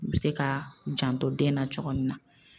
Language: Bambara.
U bi se ka janto den na cogo min na